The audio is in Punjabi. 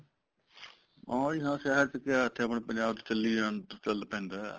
ਹਾਂ ਜੀ ਹਾਂ ਸ਼ਹਿਰ ਚ ਕਿਆ ਇੱਥੇ ਆਪਣੇ ਪੰਜਾਬ ਚ ਚੱਲ ਪੈਂਦਾ